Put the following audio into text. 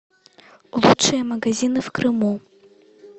лучшие магазины в крыму